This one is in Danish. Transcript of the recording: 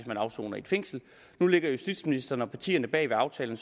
man afsoner i et fængsel nu lægger justitsministeren og partierne bag aftalen